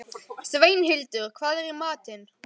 Sveinhildur, hvað er í matinn?